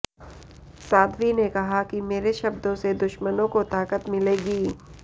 साध्वी ने कहा कि मेरे शब्दों से दुश्मनों को ताकत मिलेगी